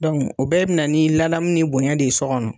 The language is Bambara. o bɛɛ be na ni ladaamu ni bonɲɛ de ye sɔ kɔnɔ.